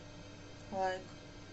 лайк